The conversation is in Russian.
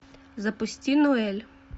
запусти нуэль